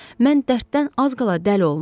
Mən dərddən az qala dəli olmuşdum.